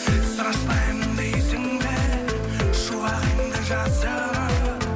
страшнаямын дейсің бе шуағыңды жасырып